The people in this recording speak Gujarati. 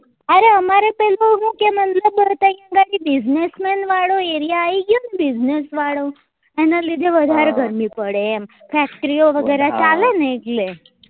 અહી business man વાળો area આયી ગયો ને business વાળો એના લીધે વધારે ગરમી પડે એમ factory ઓ વગેરા ચાલે ને એટલે